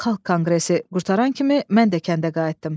Xalq konqresi qurtaran kimi mən də kəndə qayıtdım.